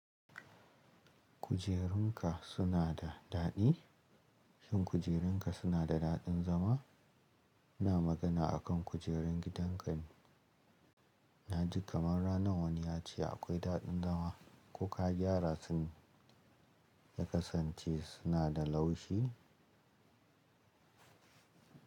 Kujerun ka suna da daɗi? Shin kujerun ka suna da daɗin zama? Ina magana a kan kujerun gidan ka ne. Na ji kamar ranan wani ya ce akwai daɗin zama. Ko ka gyara su ne ya kasance suna da laushi?